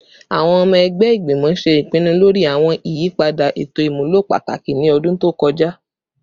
Awọn ọmọ ẹgbẹ igbimọ ṣe ipinnu lori awọn iyipada eto imulo pataki ni ọdun to kọja